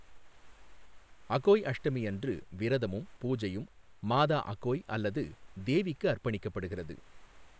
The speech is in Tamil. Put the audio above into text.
அகோய் அஷ்டமி அன்று விரதமும், பூஜையும் மாதா அகோய் அல்லது தேவிக்கு அர்ப்பணிக்கப்படுகிறது.